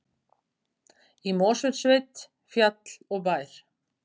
Í Mosfellssveit, fjall og bær.